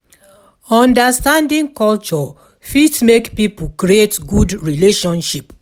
Understanding culture fit make pipo create good relationship